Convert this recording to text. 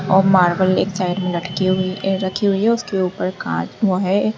और मार्बल एक साइड में रखी हुई है उसके ऊपर वो है।